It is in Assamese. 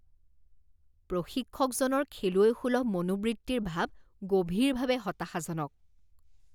প্ৰশিক্ষকজনৰ খেলুৱৈসুলভ মনোবৃত্তিৰ ভাৱ গভীৰভাৱে হতাশাজনক